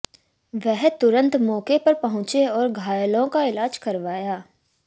वह तुरंत मौके पर पहुंचे और घायलों का इलाज करवाया